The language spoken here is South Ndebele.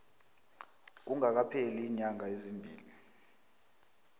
kungakapheli iinyanga ezimbili